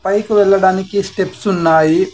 పైకి వెళ్ళడానికి స్టెప్స్ ఉన్నాయి.